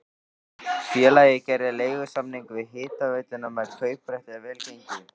Félagið gerði leigusamning við hitaveituna með kauprétti ef vel gengi.